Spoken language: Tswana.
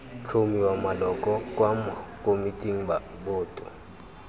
tlhomiwa maloko kwa komiting boto